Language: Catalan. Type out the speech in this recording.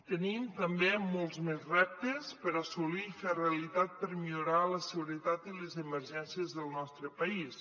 tenim també molts més reptes per assolir i fer realitat per millorar les seguretat i les emergències del nostre país